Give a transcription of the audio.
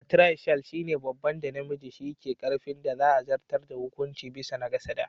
"Partriarchal" shine babban da namiji shi ke karfin da za a zartar da hukunci bisa na kasa da.